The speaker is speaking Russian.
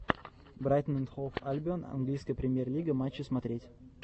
брайтон энд хоув альбион английская премьер лига матчи смотреть